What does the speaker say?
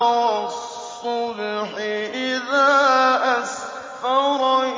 وَالصُّبْحِ إِذَا أَسْفَرَ